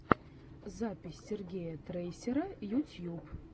запись сергея трейсера ютьюб